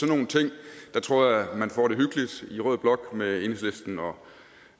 nogle ting tror jeg man får det hyggeligt i rød blok med enhedslisten og